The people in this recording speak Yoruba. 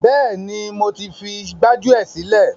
Bẹ́ẹ̀ni, mo ti fi gbájúẹ̀ sílẹ̀.